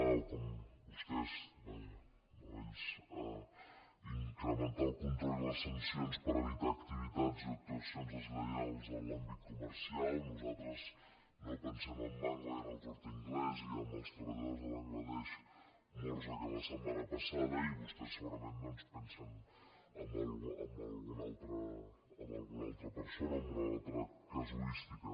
o vostès vaja no ells incrementar el control i les sancions per evitar activitats i actuacions deslleials en l’àmbit comercial nosaltres pensem en mango i en el corte inglés i en els treballadors de bangla desh morts la setmana passada i vostès segurament pensen en algu·na altra persona en alguna altra casuística